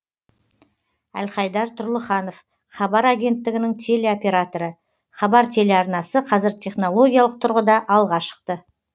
әлхайдар тұрлыханов хабар агенттігінің телеоператоры хабар телеарнасы қазір технологиялық тұрғыда алға шықты